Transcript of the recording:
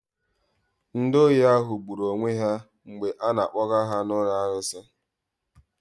Ndị ohi ahụ gburu onwe ha mgbe a na-akpoga ha na alụsi.